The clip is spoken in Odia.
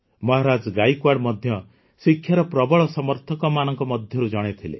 ମହାରାଜା ଗାଏକୱାଡ଼୍ ମଧ୍ୟ ଶିକ୍ଷାର ପ୍ରବଳ ସମର୍ଥକମାନଙ୍କ ମଧ୍ୟରୁ ଜଣେ ଥିଲେ